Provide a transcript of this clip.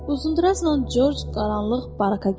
Uzundraznan Corc qaranlıq baraka girdi.